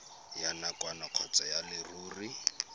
ya nakwana kgotsa ya leruri